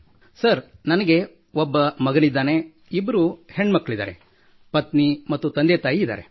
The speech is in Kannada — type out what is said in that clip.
ಸರ್ ನನಗೆ ಒಬ್ಬ ಮಗನಿದ್ದಾನೆ ಇಬ್ಬರು ಹೆಣ್ಣು ಮಕ್ಕಳು ಪತ್ನಿ ಮತ್ತು ತಂದೆ ತಾಯಿ ಇದ್ದಾರೆ